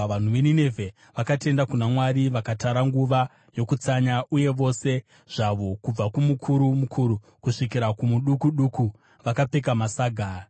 Vanhu veNinevhe vakatenda kuna Mwari. Vakatara nguva yokutsanya, uye vose zvavo, kubva kumukuru mukuru kusvikira kumuduku duku vakapfeka masaga.